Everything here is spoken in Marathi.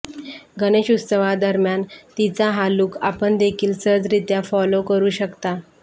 गणेशोत्सवादरम्यान तिचा हा लुक आपण देखील सहजरित्या फॉलो करू शकता